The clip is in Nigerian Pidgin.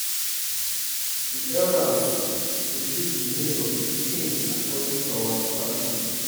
di elders go choose di name of di pikin according to our tradition.